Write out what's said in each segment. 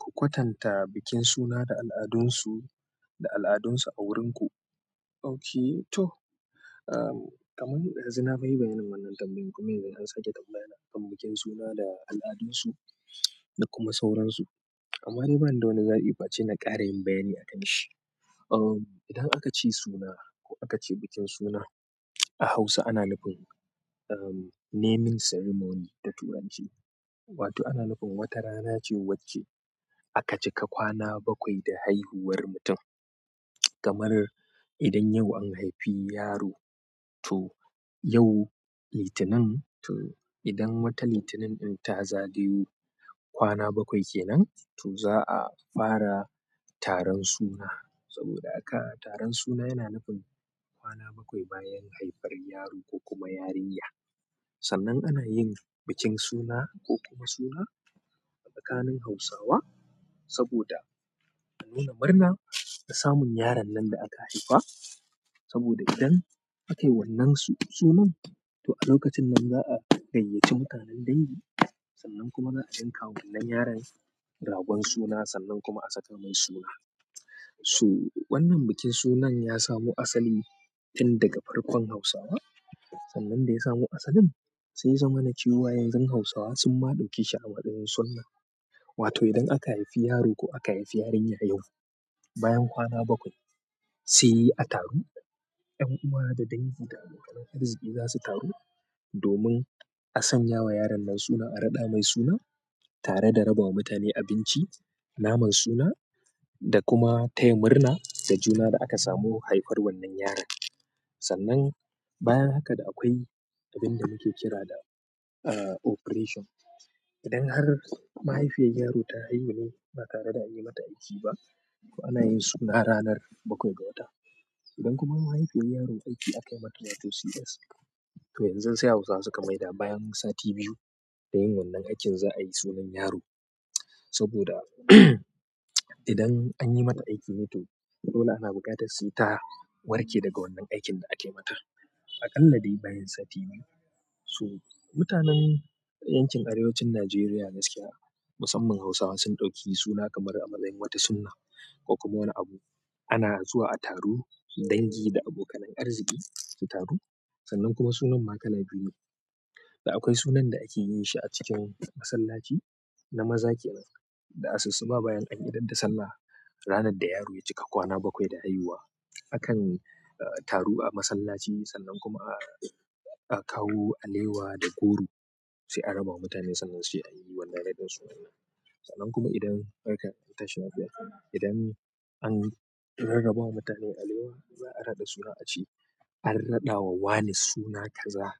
Ku kwatanta bikin suna da al'adunsu da al'adunsu a wurin ku, ok, to, ahm, kaman ɗazu na fa yi maganar wannan tambayar kuma yanzu an sake tambaya na kwanannakin suna da al'adun su da kuma sauran su amma dai ba ni da wani zaɓi face na ƙara yin bayani akanshi. Um, idan aka ce suna ko aka ce bikin suna a Hausa ana nufin, um, naming ceremony da Turanci. Wato ana nufin wata rana ce wacce aka cika kwana bakwai da haihuwar mutum. Kamar idan yau an haifi yaro to yau litinin, to idan watan litinin ɗin ta zagayo kwana bakwai kenan to za a fara taron suna. Saboda haka taron suna yana nufin kwana bakwai bayan haifar yaro ko kuma yarinya. Sannan ana yin bikin suna ko kuma suna a tsakanin Hausawa saboda a nuna murna na samun yaron nan da aka haifa. Saboda idan aka yi wannan su-sunan to a lokacin nan za a gayyaci mutanen dangi sannan kuma za'a yanka wa wannan yaron ragon suna sannan kuma a saka mai suna. So wannan bikin sunan ya samu asali tun daga farkon Hausawa. Sannan da ya samo asalin, sai ya zamana cewa yanzu Hausawa sun ma ɗauke shi a matsayin sunnah. Wato idan aka haifi yaro ko aka haifi yarinya yau, bayan kwana bakwai sai a taro. 'Yan uwa da dangi da abokanan arziki za su taro domin a sanya wa yaron nan suna, a raɗa mai suna tare da raba ma mutane abinci, naman suna da kuma taya murna da juna da aka samu haifar wannan yaron. Sannan bayan haka da akwai abin da muke kira da, eh, operation. Idan har mahaifiyar yaro ta haihu ne ba tare da anyi mata aiki ba, to ana yin suna ranar bakwai ga wata idan kuma mahaifiyar yaro aiki aka yi mata wato CS, to yanzu sai Hausawa suka maida bayan sati biyu da yin wannan aikin za a yi sunan yaro. Saboda idan an yi mata aiki ne to dole ana buƙatar sai ta warke daga wannan aikin da aka yi mata. A kalla dai bayan sati biyu, so, mutanen yankin arewacin Najeriya gaskiya musamman Hausawa, sun ɗauki suna kamar a matsayin wata sunna ko kuma wani abu, ana zuwa a taru, dangi da abokanan arziki su taru, sannan kuma sunan ma kala biyu ne da akwai sunan da ake yi shi a cikin masallaci na maza kenan. Da asussuba bayan an idar da sallah, ranar da yaro ya cika kwana bakwai da haihuwa akan, eh, taru a masallaci sannan kuma a, a kawo alewa da goro, sai a raba wa mutane sannan sai an yi wannan raɗin sunan. Sannan kuma idan barka an tashi lafiya, idan an rarraba wa mutane alewa za a raɗa suna a ce. An raɗawa wane suna kaza,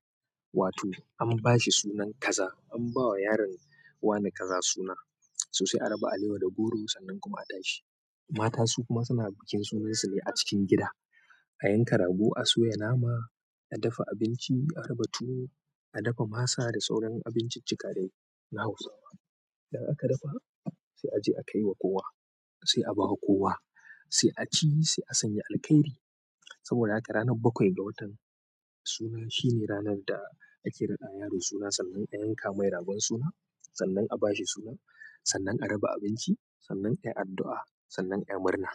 wato an ba shi sunan kaza an ba wa yaron wane kaza suna, so sai a raba alewa da goro sannan kuma a tashi. Mata su kuma suna bikin sunan su ne a cikin gida. A yanka rago, a soya nama, a dafa abinci, a raba tuwo, a dafa masa da sauran abinciccika dai na Hausawa. Idan aka dafa, sai a je a kai wa kowa, sai a ba wa kowa, sai a ci, sai a sanya alkairi. Saboda haka ranar bakwai da watan suna shi ne ranar da ake raɗa wa yaro suna sannan a yanka mai ragon suna sannan a ba shi suna sannan a raba abinci sannan a yi addu'a sannan a yi murna.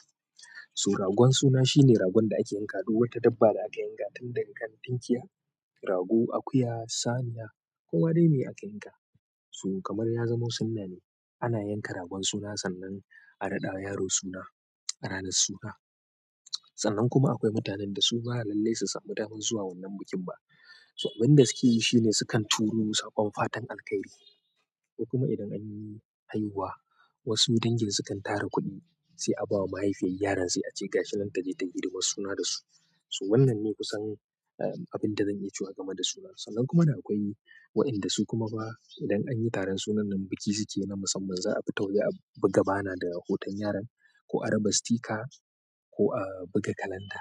To ragon suna shi ne ragon da ake yankawa, duk wata dabba da aka yanka tunda daga kan tunkiya, rago, akuya, saniya ko ma dai meye aka yanka. So kamar ya zamo sunnah ne, ana yanka ragon suna sannan a raɗa wa yaro suna a ranar suna. Sannan kuma akwai mutanen da su ba lallai su samu damar zuwa wannan bikin ba. To abin da suke yi shine su kan turo saƙon fatan alkairi. Kuma idan anyi haihuwa, wasu dangin sukan tara kuɗi sai a ba wa mahifiyar yaron sai ace gashi nan taje tayi hidamar suna dasu su wannan ne kusan, eh, abin da zan iya cewa game da sunan. Sannan kuma da akwai wa'inda su kuma ba idan an yi taron sunan nan biki suke yi na musamman, za a fita waje a buga bana daa hoton yaron ko a raba sticker ko a buga kalanda.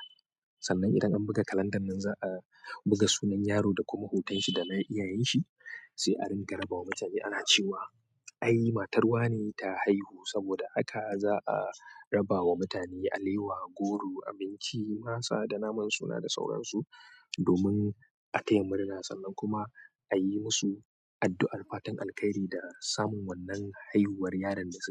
Sannan idan an buga kalandan nan za a buga sunan yaro da kuma hoton shi da na iyayen shi sai a dinga raba wa mutane ana cewa ai matar wane ta haihu saboda haka za a raba wa mutane alewa, goro, abinci, masa da naman suna da sauransu domin a taya murna sannan kuma a yi musu addu'ar fatan alkairi da samun wannan haihuwar yaron da suke yi.